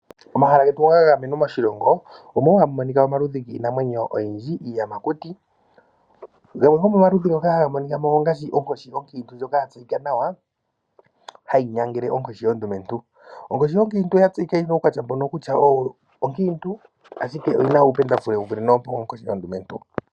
Momahala getu ga gamenwa moshilongo, omo wo hamu monika omaludhi giinamwenyo oyindji, iiyamakuti. Gamwe gomomaludhi ngono haga monika mo ongaashi onkoshi onkiintu ndjono ya tseyika nawa hayi nyangele onkoshi ondumentu. Onkoshi onkiintu oya tseyika yi na uukwatya mbono kutya oyo onkiintu, ashike oyi na uupendafule wu vule nowoonkoshi ondumentu.